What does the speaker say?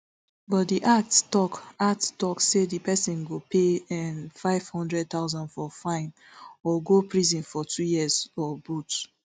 but di act tok act tok say di pesin go pay nfive hundred thousand for fine or go prison for two years or both